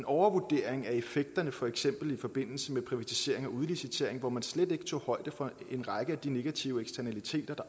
overvurdering af effekterne for eksempel i forbindelse med privatisering og udlicitering da man slet ikke tager højde for en række af de negative eksternaliteter der